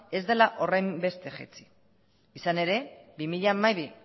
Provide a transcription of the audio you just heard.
ez dela horrenbeste jaitsi izan ere bi mila hamabi